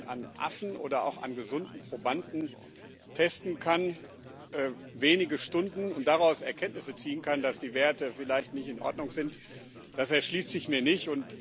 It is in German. Wie man dann an Affen oder auch an gesunden Probanden testen kann wenige Stunden und daraus Erkenntnisse ziehen kann, dass die Werte vielleicht nicht in Ordnung sind, das erschließt sich mir nicht.